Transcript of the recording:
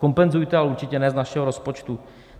Kompenzujte, ale určitě ne z našeho rozpočtu.